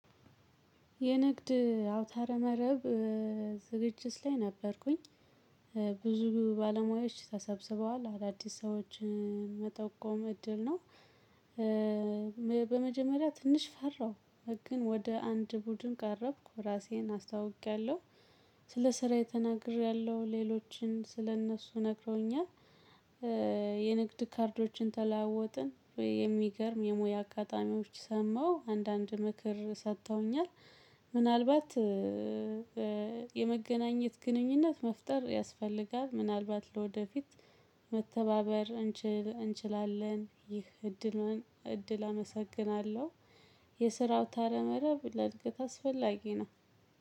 የንግድ አውታረ መረብ ዝግጅት ላይ ነበርኩኝ ብዙ ባለሙያዎች ተሰብስበዋል አዳዲስ ሰዎችን መጠቆም እድል ነው። በመጀመሪያ ትንሽ ፈራሁ። ግን ወደ አንድ ቡድን ቀረብኩ ራሴን አስታውቄያለሁ። ስለ ስራየ ተናግሪያለሁ ሌሎችም ስለእነሱ ነግረውኛል። የንግድ ካርዶችን ተለዋወጥን የሚገርም የሙያ አጋጣሚዎች ሰማሁ አንዳንድ ምክር ሰጥተውኛል። ምናልባት የመገናኘት ግንኙነት መፍጠር ያስፈልጋል ምናልባት ለወደፊት መተባበር እንችላለን ይህ እድል እድል አመሰግናለሁ። የስራ አውታረ ምረብ ለእድገት አስፈላጊ ነው።